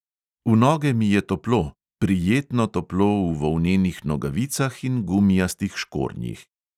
V noge mi je toplo, prijetno toplo v volnenih nogavicah in gumijastih škornjih.